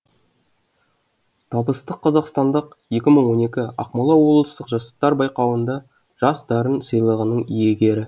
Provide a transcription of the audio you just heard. табысты қазақстандық екі мың он екі ақмола облыстық жастар байқауында жас дарын сыйлығының иегері